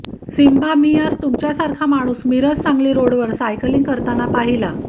Simba मी आज तुमच्यासारखा माणूस मिरज सांगली रोडवर सायकलिंग करताना पाहिला